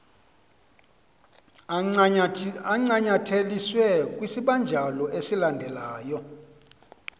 ancanyatheliswe kwisibanjalo esilandelyo